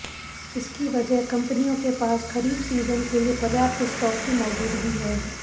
इसकी वजह कंपनियों के पास खरीफ सीजन के लिए पर्याप्त स्टॉक की मौजूदगी है